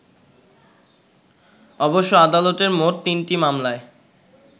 অবশ্য আদালতে মোট তিনটি মামলায়